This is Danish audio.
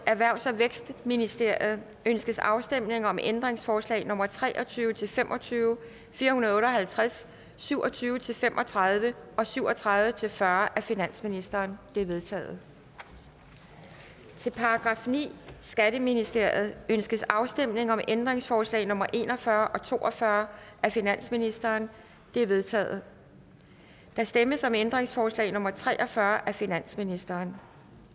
erhvervs og vækstministeriet ønskes afstemning om ændringsforslag nummer tre og tyve til fem og tyve fire hundrede og otte og halvtreds syv og tyve til fem og tredive og syv og tredive til fyrre af finansministeren de er vedtaget til § niende skatteministeriet ønskes afstemning om ændringsforslag nummer en og fyrre og to og fyrre af finansministeren de er vedtaget der stemmes om ændringsforslag nummer tre og fyrre af finansministeren